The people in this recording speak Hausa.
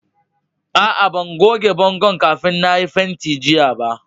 Aa, ban goge bongon' kafin na yi fentin jiya ba.